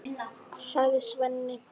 sagði Svenni.